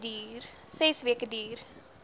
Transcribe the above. ses weke duur